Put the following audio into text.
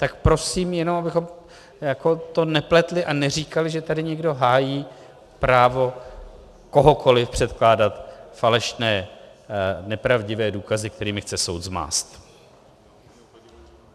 Tak prosím, jenom abychom to nepletli a neříkali, že tady někdo hájí právo kohokoliv předkládat falešné, nepravdivé důkazy, kterými chce soud zmást.